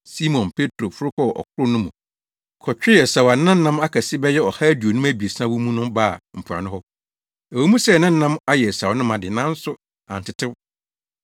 Simon Petro foro kɔɔ ɔkorow no mu kɔtwee asau a na nam akɛse bɛyɛ ɔha aduonum abiɛsa wɔ mu no baa mpoano hɔ. Ɛwɔ mu sɛ na nam ayɛ asau no ma de, nanso antetew.